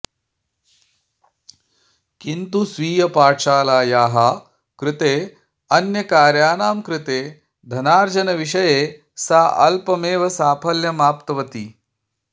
किन्तु स्वीयपाठशालायाः कृते अन्यकार्याणां कृते धनार्जनविषये सा अल्पमेव साफल्यमाप्तवती